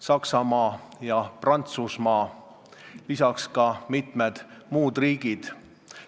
Saksamaa ja Prantsusmaa, lisaks mitmed muud riigid.